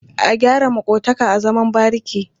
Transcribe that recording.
A gyara maƙotaka a zaman bariki.